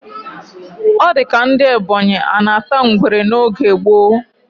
O dika ndi ebonyi anata ngwere n oge gbo